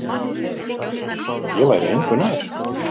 Ég væri engu nær.